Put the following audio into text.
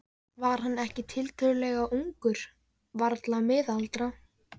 Var hann ekki enn tiltölulega ungur þá, varla miðaldra?